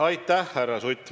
Aitäh, härra Sutt!